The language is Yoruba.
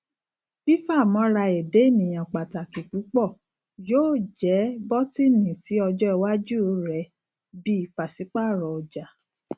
fifamọra ẹda eniyan pataki pupọ yoo jẹ bọtini si ọjọ iwaju rẹ bi paṣipaarọ ọja